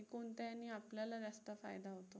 कोणत्या हेने आपल्याला जास्त फायदा होतो?